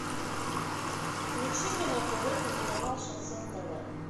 включи мне на тв телеканал шансон тв